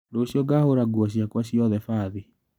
Rũciũ ngahũra nguo ciakwa ciothe bathi.